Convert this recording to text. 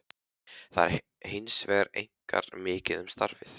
Þar er hins vegar einkar mikið um stafi.